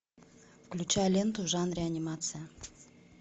включай ленту в жанре анимация